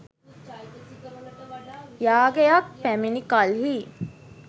යාගයක් පැමිණි කල්හී